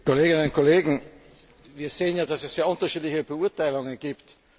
Kolleginnen und Kollegen, wir sehen, dass es sehr unterschiedliche Beurteilungen gibt.